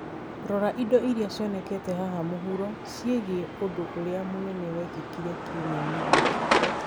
Rora indo iria cionekete haha mũhuro ciĩgiĩ ũndũ ũrĩa mũnene wekĩkire kiumia-inĩ gĩkĩ